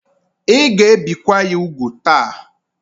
Ị ga ebi kwa ya úgwù ta!